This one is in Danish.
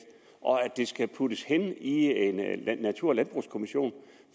og at det skal puttes hen i en natur og landbrugskommission